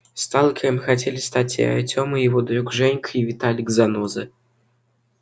сталкером хотели стать и артём и его друг женька и виталик заноза